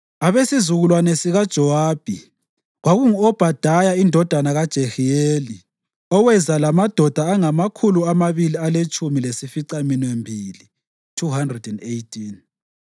abesizukulwane sikaJowabi, kwakungu-Obhadaya indodana kaJehiyeli, oweza lamadoda angamakhulu amabili aletshumi lasificaminwembili (218);